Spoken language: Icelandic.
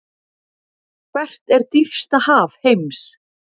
Hvert er dýpsta haf heims?